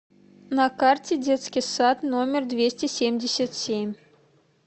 на карте детский сад номер двести семьдесят семь